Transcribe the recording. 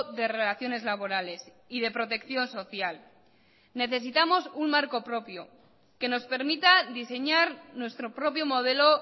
de relaciones laborales y de protección social necesitamos un marco propio que nos permita diseñar nuestro propio modelo